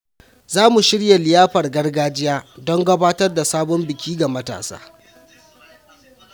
Za mu shirya liyafar gargajiya don gabatar da sabon biki ga matasa.